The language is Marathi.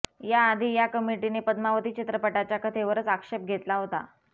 याआधी या कमिटीने पद्मावती चित्रपटाच्या कथेवरच आक्षेप घेतला होता